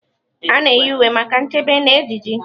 A na-eyi uwe maka nchebe na ejiji.